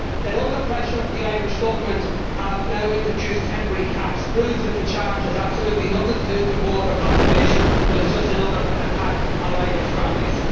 That under pressure the Irish Government has now introduced temporary caps proves that the charge has absolutely nothing to do with water conservation but is just another attack on Irish families.